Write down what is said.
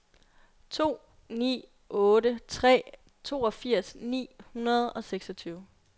to ni otte tre toogfirs ni hundrede og seksogtyve